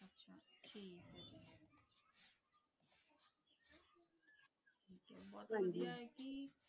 ਬੁਹਤ ਵਾਦੇਯਾ